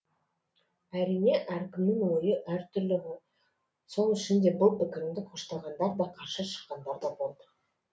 әрине әркімнің ойы әртүрлі ғой сол үшін де бұл пікірімді қоштағандар да қарсы шыққандар да болды